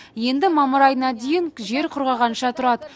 енді мамыр айына дейін жер құрғағанша тұрады